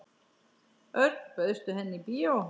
Örn, bauðstu henni í bíó?